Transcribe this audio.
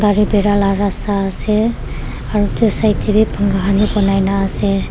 gari birai la rasta ase aru itu side teh wii pankha wii banaina ase.